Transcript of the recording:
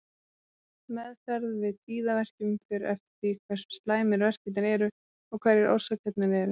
Meðferð við tíðaverkjum fer eftir því hversu slæmir verkirnir eru og hverjar orsakirnar eru.